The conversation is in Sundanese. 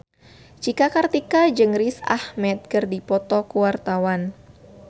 Cika Kartika jeung Riz Ahmed keur dipoto ku wartawan